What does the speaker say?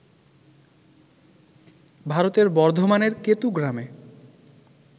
ভারতের বর্ধমানের কেতু গ্রামে